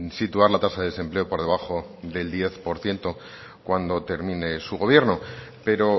situar la tasa de desempleo por debajo del diez por ciento cuando termine su gobierno pero